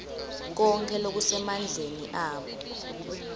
konkhe lokusemandleni abo